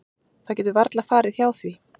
Það getur varla farið hjá því.